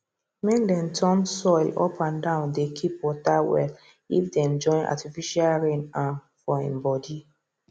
make dem turn soil up and downdey keep water well if dem join artificial rain um for im body